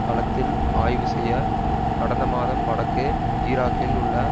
களத்தில் ஆய்வு செய்ய கடந்த மாதம் வடக்கு ஈராக்கில் உள்ள